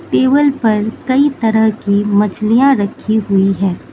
Table पर कई तरह की मछलियां रखी हुई है।